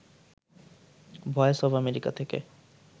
voice of America থেকে